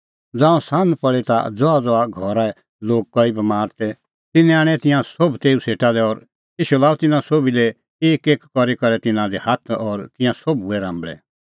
ज़ांऊं सान्ह पल़ी ता ज़हाज़हा घरै लोग कई बमार तै तिन्नैं आणै तिंयां सोभ तेऊ सेटा लै और ईशू लाअ तिन्नां सोभी लै एकएक करी करै तिन्नां दी हाथ और तिंयां सोभ हुऐ राम्बल़ै